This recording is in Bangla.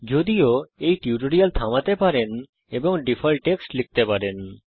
যদিও এই টিউটোরিয়াল থামাতে পারেন এবং ডিফল্ট টেক্সট লিখতে পারেন